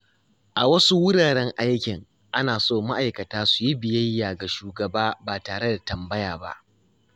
A wasu wuraren aikin, ana so ma’aikata su yi biyayya ga shugaba ba tare da tambaya ba.